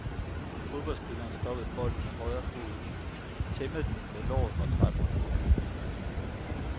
Fodboldspilleren stoppede bolden med højrefoden, tæmmede den med låret og drejede rundt.